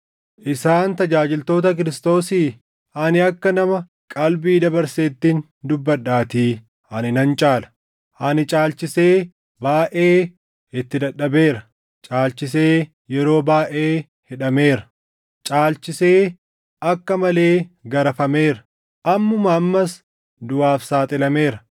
Isaan tajaajiltoota Kiristoosii? Ani akka nama qalbii dabarseettin dubbadhaatii ani nan caala. Ani caalchisee baayʼee itti dadhabeera; caalchisee yeroo baayʼee hidhameera; caalchisee akka malee garafameera; ammumaa ammas duʼaaf saaxilameera.